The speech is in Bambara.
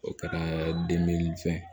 O kɛra fɛn